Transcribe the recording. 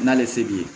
N'ale se b'i ye